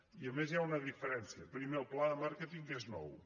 i a més hi ha una diferència primer el pla de màr·queting és nou